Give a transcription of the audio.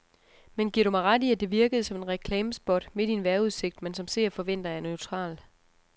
Men giver du mig ret i, at det virkede som et reklamespot midt i en vejrudsigt, man som seer forventer er neutral.